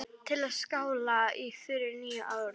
Til að skála í fyrir nýju ári.